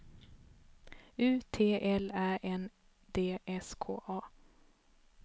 U T L Ä N D S K A